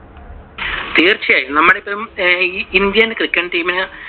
തീർച്ചയായും. നമ്മൾ Indian cricket team ന്